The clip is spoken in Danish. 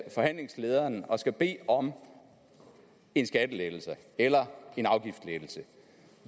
forhandlingslederen og skal bede om en skattelettelse eller en afgiftslettelse